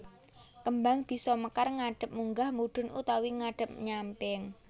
Kembang bisa mekar ngadhep munggah mudhun utawa ngadhep nyamping